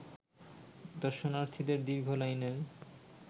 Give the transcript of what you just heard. দর্শনার্থীদের দীর্ঘ লাইনের